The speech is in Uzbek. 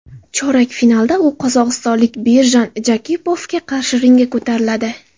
Chorak finalda u qozog‘istonlik Birjan Jakipovga qarshi ringga ko‘tariladi.